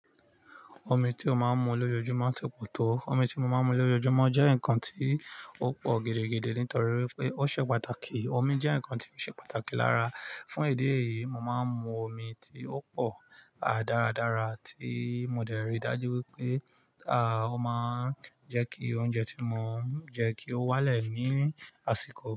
Omi tí ó máa ń mu lójoojúmọ́ ń ṣòpòtó. Omi tí mo máa ń mu lójoojúmọ́ jẹ́ ǹkan tí ó pò gidi-gidi nítorí wípé ó ṣe pàtàkì. Omi jẹ́ ǹkan tí ó ṣe pàtàkì lára. Fún idi yìí, mo máa ń mu omi tí ó pò, à, dáradára tí mo dẹ̀ ri dájú wípé, à, ó máa ń jẹ́ kí oúnjẹ tí mo ń jẹ́ kí ó wálẹ̀ ní àsìkò.